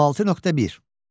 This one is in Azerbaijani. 16.1.